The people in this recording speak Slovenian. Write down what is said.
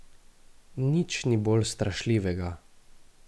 Nič ni bolj strašljivega.